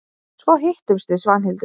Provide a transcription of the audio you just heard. Svo hittumst við Svanhildur.